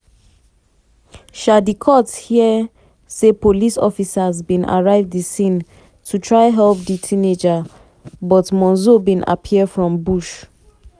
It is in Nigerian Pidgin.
um di court hear say police officers bin arrive di scene to try help di teenager but monzo bin appear from bush.